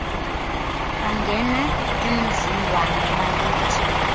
bangena emzingwane bayithi